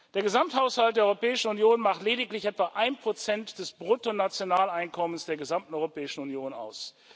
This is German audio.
Der Gesamthaushalt der Europäischen Union macht lediglich etwa 1 des Bruttonationaleinkommens der gesamten Europäischen Union aus.